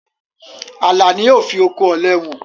Àlà ni ó fi oko òle hàn.